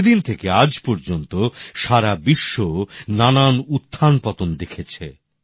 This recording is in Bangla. সেদিন থেকে আজ পর্যন্ত সারা বিশ্ব নানান উত্থান পতন দেখেছে